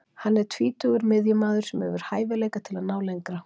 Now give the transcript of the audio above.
Hann er tvítugur miðjumaður sem hefur hæfileika til að ná lengra.